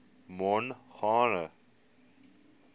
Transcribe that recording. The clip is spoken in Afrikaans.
mongane